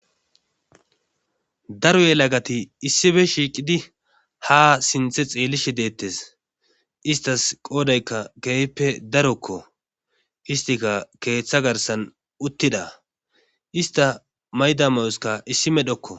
daro ye lagati issife shiiqidi ha sinthe xeellishi deettes istas qoodaykka geeyppe darokko istika keeththa garsan uttida ista mayda mayoska issi medhokko